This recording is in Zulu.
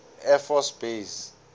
air force base